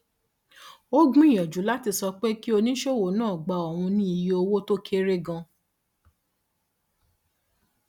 ó gbìyànjú láti sọ pé kí oníṣòwò náà gba òun ní iye owó tó kéré ganan